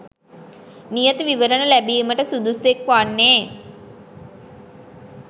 නියත විවරණ ලැබීමට සුදුස්සෙක් වන්නේ